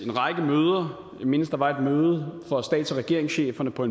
en række møder jeg mindes at der var et møde for stats og regeringscheferne på